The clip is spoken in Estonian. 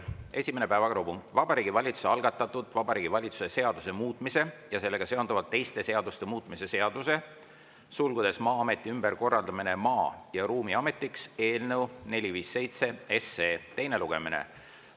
Esimene päevakorrapunkt: Vabariigi Valitsuse algatatud Vabariigi Valitsuse seaduse muutmise ja sellega seonduvalt teiste seaduste muutmise seaduse eelnõu 457 teine lugemine.